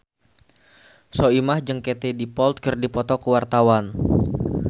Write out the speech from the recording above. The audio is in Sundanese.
Soimah jeung Katie Dippold keur dipoto ku wartawan